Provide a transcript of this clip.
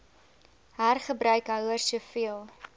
hergebruik houers soveel